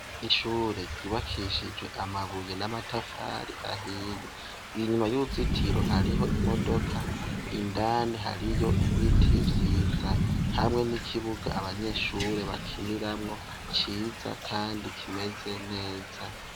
Ishure ryubakishijwe amabuye namatafari ahiye inyuma yuruzitiro hariho imodoka indani hariyo ibiti vyiza hamwe nikibuga abanyeshure bakiniramwo ciza kandi kimeze neza